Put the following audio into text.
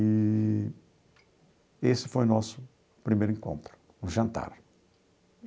Eee esse foi nosso primeiro encontro, um jantar.